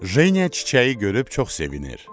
Jeniya çiçəyi görüb çox sevinir.